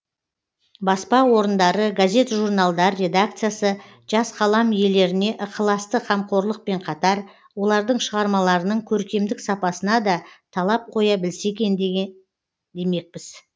баспа орындары газет журналдар редакциясы жас қалам иелеріне ықыласты қамқорлықпен қатар олардың шығармаларының көркемдік сапасына да талап қоя білсе екен демекпіз